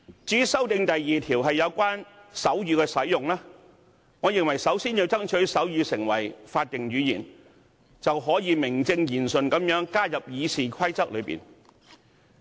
至於第2條的修訂則有關手語的使用，我認為首先要爭取將手語訂為法定語言，那便可以名正言順地將之納入《議事規則》。